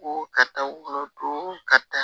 Ko karisa wolo don karisa